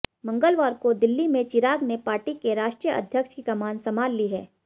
मंगलवार को दिल्ली में चिराग ने पार्टी के राष्ट्रीय अध्यक्ष की कमान संभाल ली है